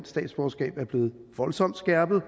statsborgerskab er blevet voldsomt skærpet